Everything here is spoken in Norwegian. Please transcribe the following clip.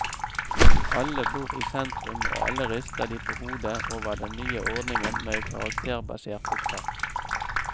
Alle bor i sentrum, og alle rister de på hodet over den nye ordningen med karakterbasert opptak.